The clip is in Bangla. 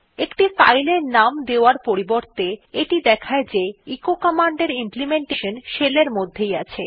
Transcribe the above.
একটি ফাইল এর নাম দেওয়ার পরিবর্তে এটি দেখায় যে এচো কমান্ডের ইমপ্লিমেন্টেশন শেল এর মধ্যেই আছে